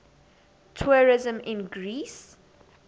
tourism in greece